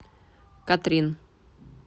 катрин